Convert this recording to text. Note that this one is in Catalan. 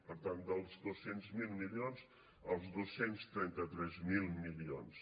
per tant dels dos cents miler milions als dos cents i trenta tres mil milions